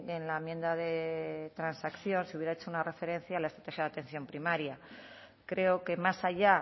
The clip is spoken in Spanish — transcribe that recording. en la enmienda de transacción si hubiera hecho una referencia a las de atención primaria creo que más allá